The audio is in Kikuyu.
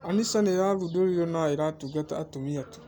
An-Nisa nirathũndorĩrwo na ĩtũngataga atũmĩa tu